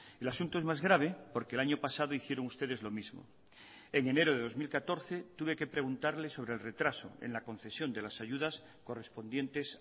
el asunto es más grave porque el año pasado hicieron ustedes lo mismo en enero de dos mil catorce tuve que preguntarle sobre el retraso en la concesión de las ayudas correspondientes